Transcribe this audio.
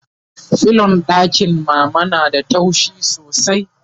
filon ɗakin mama na da taushi sosai